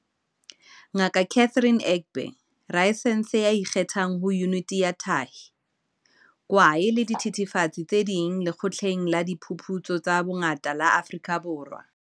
Ngaka Catherine Egbe, rasaense ya ikgethang ho Yuniti ya Tahi, Kwae le Dithethefatsi tse Ding Lekgotleng la Diphuputso tsa Bongaka la Afrika Borwa.